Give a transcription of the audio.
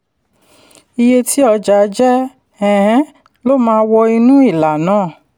iye tí ọjà jẹ́ um ló máa wọ inú ìlà náà